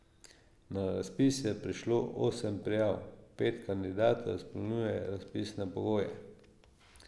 Na razpis je prišlo osem prijav, pet kandidatov izpolnjuje razpisne pogoje.